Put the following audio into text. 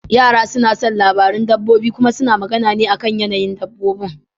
Yara suna son labaran dabbobi kuma suna magana ne akan yanayin dabbobi.